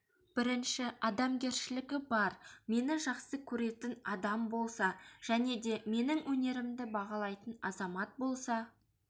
бірінші адамгершілігі бар мені жақсы көретін адам болса және де менің өнерімді бағалайтын азамат болса